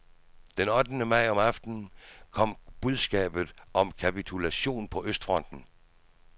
Den ottende maj om aftenen kom budskabet om kapitulationen på østfronten.